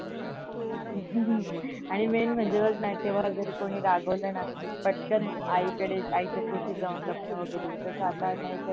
आणि main म्हणजे बघ न तेव्हा जर कोणी रागावल ना पटकन आईकडे आईच्या कुशीत जाऊनलपण वगरे तस आता नाही